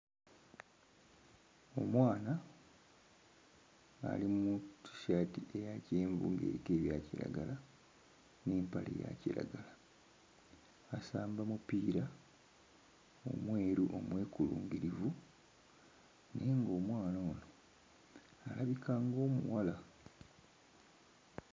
Omwana ali mu Tshirt eya kyenvu ng'eriko ebya kiragala n'empale eya kiragala asamba mupiira, omweru omwekulungirivu, naye ng'omwana ono alabika ng'omuwala.